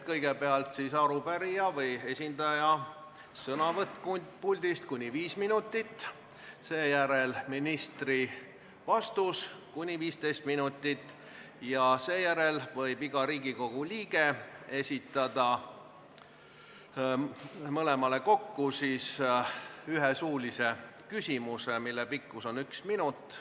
Kõigepealt on arupärijate esindaja sõnavõtt puldist kuni viis minutit, seejärel ministri vastus kuni 15 minutit ja seejärel võib iga Riigikogu liige esitada mõlemale kokku ühe suulise küsimuse, mille pikkus on üks minut.